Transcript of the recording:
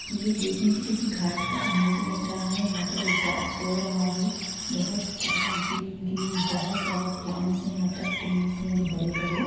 यह देखने से किसी घाट का इमेज लग रहा है जहां पर एक डग सो रहा है बहुत ज्यादा ग्रीन ग्रीन बहुत ज्यादा प्लांट से यहां पर ट्रीज देंगे बड़े-बड़े--